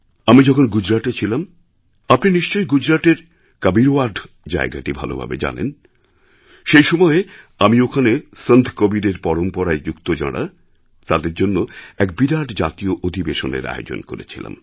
আমি যখন গুজরাটে ছিলাম আপনি নিশ্চয়ইগুজরাটের কবিরওয়াদ জায়গাটি ভালোভাবে জানেন সেই সময়ে আমি ওখানে সন্ত কবীরের পরম্পরায় যুক্ত যাঁরা তাঁদেরজন্যে এক বিরাট জাতীয় অধিবেশনের আয়োজন করেছিলাম